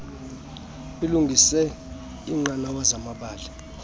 ilungise iinqanawa zamabala